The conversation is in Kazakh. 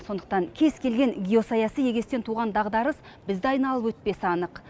сондықтан кез келген геосаяси егестен туған дағдарыс бізді айналып өтпесі анық